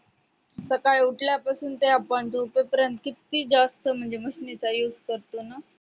सकाळी उठल्यापासून ते आपण झोपेपर्यंत किती जास्त म्हणजे machine चा use करतो ना